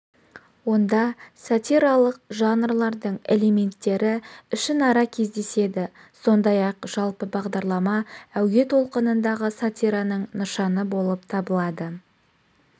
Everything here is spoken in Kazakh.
онда сатиралық жанрлардың элементтері ішінара кездеседі сондай-ақ жалпы бағдарлама әуе толқынындағы сатираның нышаны болып табылады